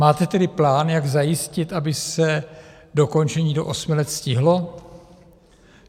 Máte tedy plán, jak zajistit, aby se dokončení do osmi let stihlo?